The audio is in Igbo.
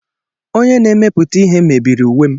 Onye na-emepụta ihe mebiri uwe m.